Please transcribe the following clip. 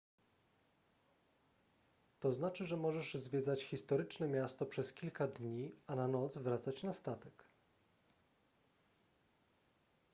to znaczy że możesz zwiedzać historyczne miasto przez kilka dni a na noc wracać na statek